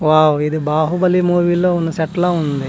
Wow ఇది Baahubali movie లో ఉన్న సెట్ లా ఉంది.